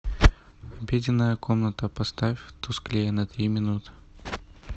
обеденная комната поставь тусклее на три минуты